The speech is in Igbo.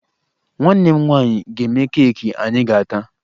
Nwanne m nwaanyị ga-eme keeki anyị ga-ata